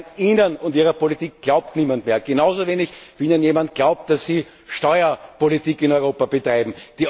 Meine Herren, Ihnen und Ihrer Politik glaubt niemand mehr! Genauso wenig wie Ihnen jemand glaubt, dass Sie Steuerpolitik in Europa betreiben.